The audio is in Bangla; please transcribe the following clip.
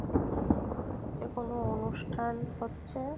এখানে মনে হচ্ছে কোনো অনুষ্ঠান হচ্ছে।